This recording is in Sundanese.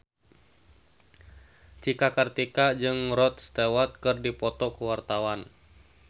Cika Kartika jeung Rod Stewart keur dipoto ku wartawan